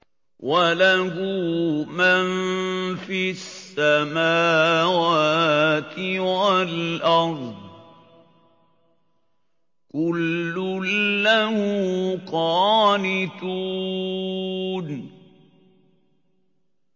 وَلَهُ مَن فِي السَّمَاوَاتِ وَالْأَرْضِ ۖ كُلٌّ لَّهُ قَانِتُونَ